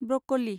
broccoli